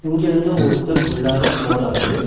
இங்க வந்து ஒருத்தர் உள்ளாரா போறாரு.